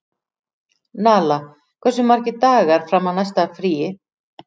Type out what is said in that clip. Nala, hversu margir dagar fram að næsta fríi?